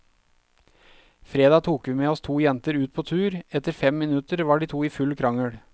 Fredag tok vi med oss to jenter ut på tur, etter fem minutter var de to i full krangel.